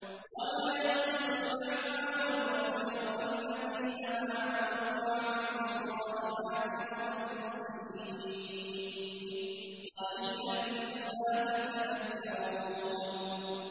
وَمَا يَسْتَوِي الْأَعْمَىٰ وَالْبَصِيرُ وَالَّذِينَ آمَنُوا وَعَمِلُوا الصَّالِحَاتِ وَلَا الْمُسِيءُ ۚ قَلِيلًا مَّا تَتَذَكَّرُونَ